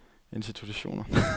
institutioner